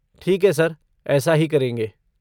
ठीक है, सर, ऐसा ही करेंगे।